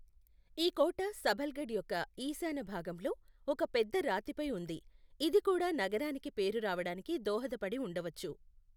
ఈ కోట సబల్ఘఢ్ యొక్క ఈశాన్య భాగంలో ఒక పెద్ద రాతిపై ఉంది, ఇది కూడా నగరానికి పేరు రావడానికి దోహదపడి ఉండవచ్చు.